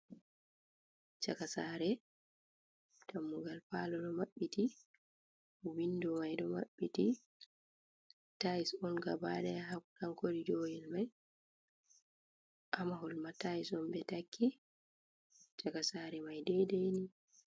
Cakasare, dammugal palo ɗo maɓɓiti, windo mai ɗo maɓɓiti, tais on gabaɗaya hautankor joyel mai, hamahol ma tais on ɓe takki caka sare mai dedeni.